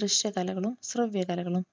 ദൃശ്യ കലകളും ശ്രവ്യ കലകളും.